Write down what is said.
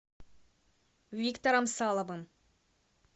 виктором саловым